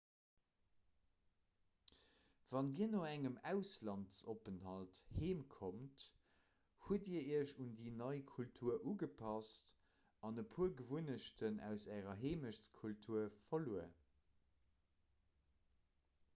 wann dir no engem auslandsopenthalt heem kommt hutt dir iech un déi nei kultur ugepasst an e puer gewunnechten aus ärer heemechtkultur verluer